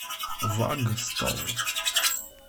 ваг стор